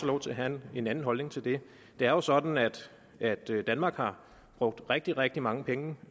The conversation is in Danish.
lov til at have en anden holdning til det det er jo sådan at at danmark har brugt rigtig rigtig mange penge